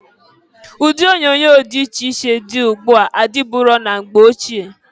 Ụdị onyoonyo dị iche iche dị ugbu a adịburo na mgbe ochie.